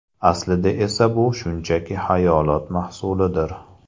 Aslida esa bu shunchaki xayolot mahsulidir.